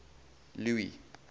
louis